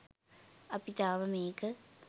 අපි තාම මේක